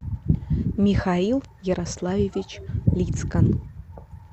михаил ярославович лицкан